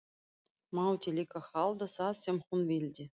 Mátti líka halda það sem hún vildi.